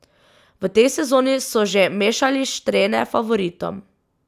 V tej sezoni so že mešali štrene favoritom.